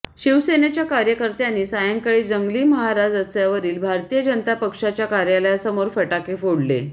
शिवसेनेच्या कार्यकर्त्यांनी सायंकाळी जंगलीमहाराज रस्त्यावरील भारतीय जनता पक्षाच्या कार्यालयासमोर फटाके फोडले